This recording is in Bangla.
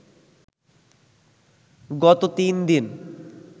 গত তিন দিন